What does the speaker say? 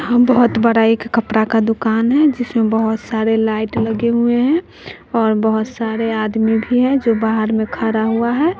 हां बहुत बड़ा एक कपड़ा का दुकान है जिसमें बहुत सारे लाइट लगे हुए हैं और बहुत सारे आदमी भी हैं जो बाहर में खड़ा हुआ है।